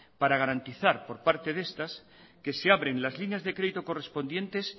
para garantizar por parte de estas que se abren las líneas de crédito correspondientes